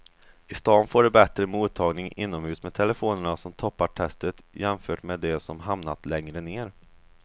I stan får du bättre mottagning inomhus med telefonerna som toppar testet jämfört med de som hamnat längre ner.